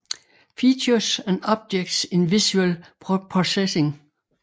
Features and objects in visual processing